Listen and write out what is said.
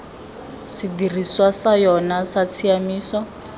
sedirisiwa sa yona sa tshiamiso